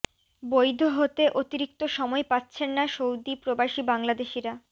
বৈধ হতে অতিরিক্ত সময় পাচ্ছেন না সৌদি প্রবাসী বাংলাদেশিরা